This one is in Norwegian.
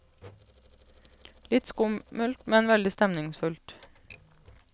Litt skummelt, men veldig stemningsfullt.